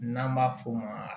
N'an b'a f'o ma